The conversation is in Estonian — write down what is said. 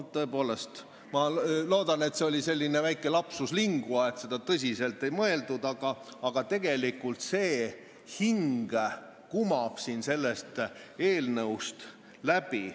Ma tõepoolest loodan, et see oli selline väike lapsus linguae, et seda tõsiselt ei mõeldud, aga tegelikult kumab selline hing sellest eelnõust läbi.